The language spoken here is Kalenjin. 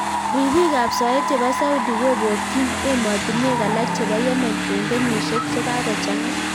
Ripiik ap soet chepo Saudi kopokyin emotinwek alak chepoo Yemen eng kenyisiek chekakochangaa